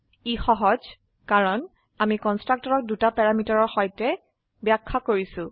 ই সহজ কাৰণ আমি কন্সট্ৰাকটৰক দুটা প্যাৰামিটাৰৰ সৈতে ব্যাখ্যা কৰিছো